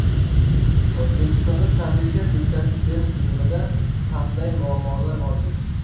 O‘zbekistonda tabiiy gaz yetkazib berish tizimida qanday muammolar mavjud?.